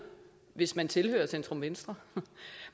hvis man tilhører centrum venstre